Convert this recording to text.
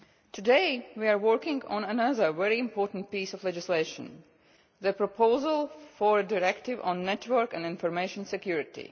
Today we are working on another very important piece of legislation the proposal for a Directive on network and information security.